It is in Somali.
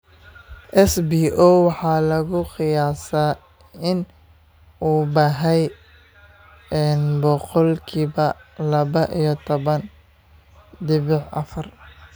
SBO waxa lagu qiyaasaa in uu baahay boqolkiba laba iyo taban dibic afar.